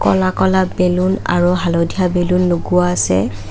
ক'লা ক'লা বেলুন আৰু হালধীয়া বেলুন লগোৱা আছে।